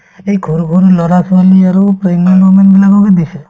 এই সৰু সৰু লৰা-ছোৱালী আৰু pregnant women বিলাককে দিছে